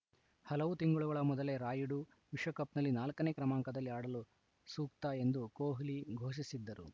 ಹಲವು ತಿಂಗಳುಗಳ ಮೊದಲೇ ರಾಯುಡು ವಿಶ್ವಕಪ್‌ನಲ್ಲಿ ನಾಲ್ಕ ನೇ ಕ್ರಮಾಂಕದಲ್ಲಿ ಆಡಲು ಸೂಕ್ತ ಎಂದು ಕೊಹ್ಲಿ ಘೋಷಿಸಿದ್ದರು